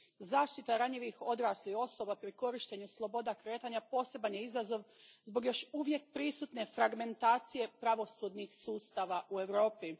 Zaštita ranjivih odraslih osoba pri korištenju sloboda kretanja poseban je izazov zbog još uvijek prisutne fragmentacije pravosudnih sustava u Europi.